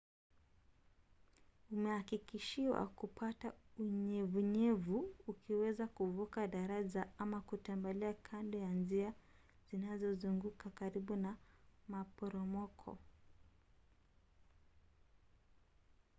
umehakikishiwa kupata unyevunyevu ukiweza kuvuka daraja ama kutembea kando ya njia zinazozunguka karibu na maporomoko